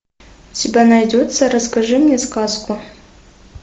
у тебя найдется расскажи мне сказку